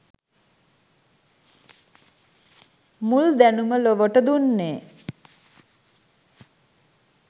මුල් දැනුම ලොවට දුන්නේ